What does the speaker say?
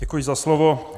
Děkuji za slovo.